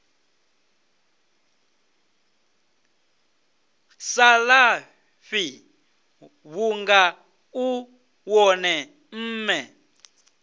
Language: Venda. salafhi vhunga u wone mme